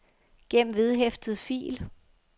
gem vedhæftet fil